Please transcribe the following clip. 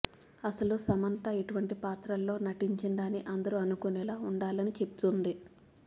అసలు సమంత ఇటువంటి పాత్రల్లో నటించిందా అని అందరు అనుకునేలా ఉండాలని చెబుతుంది